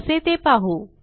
कसे ते पाहू